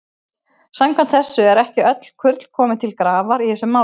Samkvæmt þessu eru ekki öll kurl komin til grafar í þessu máli.